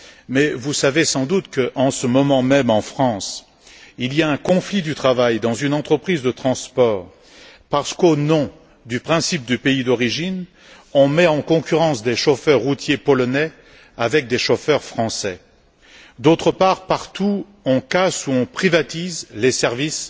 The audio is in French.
Mais vous savez sans doute que, en ce moment même en France, il y a un conflit du travail dans une entreprise de transport parce qu'au nom du principe du pays d'origine, on met en concurrence des chauffeurs routiers polonais avec des chauffeurs français. D'autre part, partout, on casse ou on privatise les services